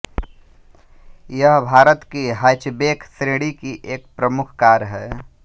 यह भारत कि हैचबेक श्रेणी की एक प्रमुख कार हैं